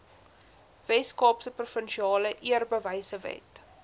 weskaapse provinsiale eerbewysewet